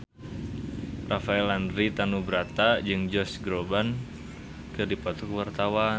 Rafael Landry Tanubrata jeung Josh Groban keur dipoto ku wartawan